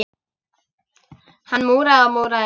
Hann múraði og múraði.